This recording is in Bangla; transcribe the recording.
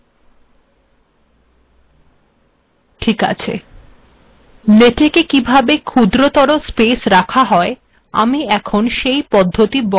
ঠিক আছে লেটেক কিভাবে ক্ষুদ্রতর স্পেস রাখা যায় আমি এখন সেই পদ্ধিত বর্ণনা করব